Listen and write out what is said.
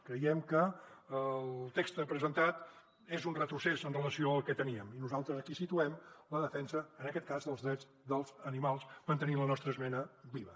creiem que el text presentat és un retrocés amb relació al que teníem i nosaltres aquí situem la defensa en aquest cas dels drets dels animals mantenint la nostra esmena viva